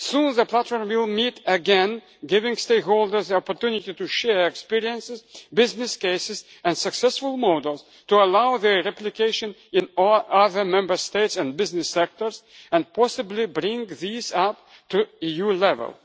The platform will soon meet again, giving stakeholders the opportunity to share experiences, business cases and successful models to allow their replication in all other Member States and business sectors and possibly bring these up to EU level.